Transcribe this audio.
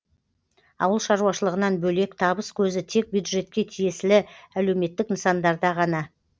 ауыл шаруашылығынан бөлек табыс көзі тек бюджетке тиесілі әлеуметтік нысандарда ғана